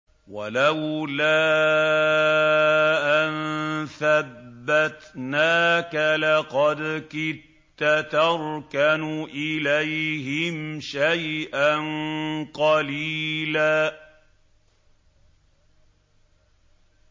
وَلَوْلَا أَن ثَبَّتْنَاكَ لَقَدْ كِدتَّ تَرْكَنُ إِلَيْهِمْ شَيْئًا قَلِيلًا